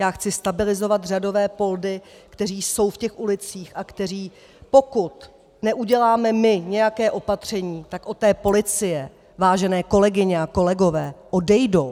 Já chci stabilizovat řadové poldy, kteří jsou v těch ulicích a kteří, pokud neuděláme my nějaké opatření, tak od té policie, vážené kolegyně a kolegové, odejdou!